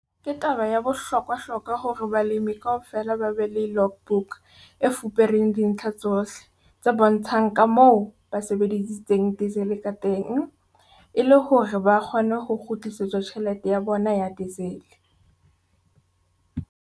Ke taba ya bohlokwahlokwa hore balemi kaofela ba be le logbook e fupereng dintlha tsohle tse bontshang ka moo ba sebedisitseng diesel ka teng e le hore ba kgone ho kgutlisetswa tjhelete ya bona ya diesel.